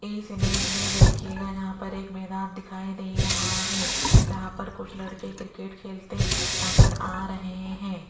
इस इमेज में देखिएगा यहां पर एक मैदान दिखाई दे रहा है जहां पर कुछ लड़के क्रिकेट खेलते नजर आ रहे हैं।